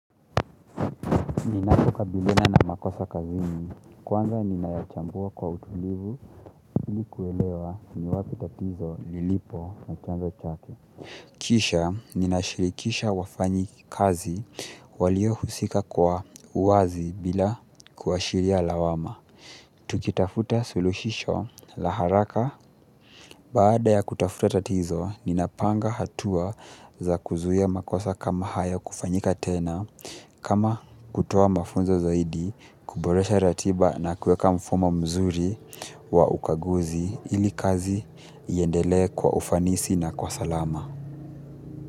Ninapokabiliana na makosa kazini, kwanza ninayachambua kwa utulivu ili kuelewa ni wapi tatizo lilipo na chanzo chake. Kisha, ninashirikisha wafanyikazi waliohusika kwa uwazi bila kuashiria lawama. Tukitafuta suluhisho la haraka. Baada ya kutafuta tatizo ninapanga hatua za kuzuia makosa kama hayo kufanyika tena kama kutoa mafunzo zaidi kuboresha ratiba na kuweka mfumo mzuri wa ukaguzi ili kazi iendelee kwa ufanisi na kwa salama.